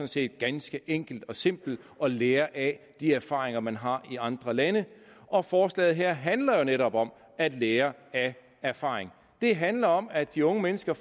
set ganske enkelt og simpelt at lære af de erfaringer man har i andre lande og forslaget her handler jo netop om at lære af erfaring det handler om at de unge mennesker